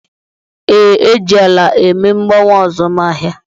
Ee, e ji ala eme mgbanwe azụmahịa